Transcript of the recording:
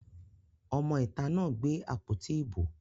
Ọmọ ìta náà gbé àpótí ìbò